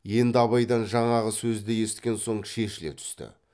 енді абайдан жаңағы сөзді есіткен соң шешіле түсті